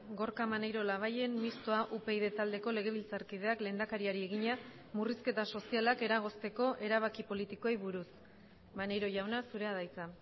gorka maneiro labayen mistoa upyd taldeko legebiltzarkideak lehendakariari egina murrizketa sozialak eragozteko erabaki politikoei buruz maneiro jauna zurea da hitza